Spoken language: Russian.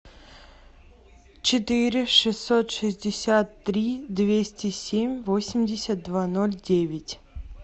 четыре шестьсот шестьдесят три двести семь восемьдесят два ноль девять